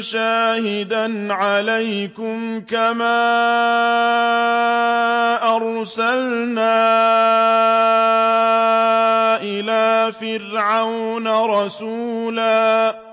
شَاهِدًا عَلَيْكُمْ كَمَا أَرْسَلْنَا إِلَىٰ فِرْعَوْنَ رَسُولًا